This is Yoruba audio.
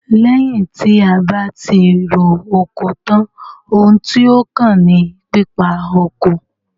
Lẹ́yìn tí a bá tí ro oko tán, oun tí ó kàn ní pípa oko.